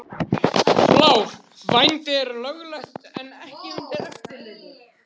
Blár: Vændi er löglegt en ekki undir eftirliti.